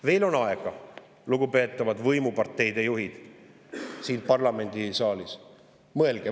Veel on aega, lugupeetavad võimuparteide juhid siin parlamendisaalis!